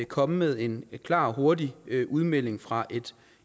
komme med en klar og hurtig udmelding fra